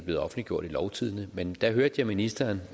blevet offentliggjort i lovtidende men jeg hørte ministeren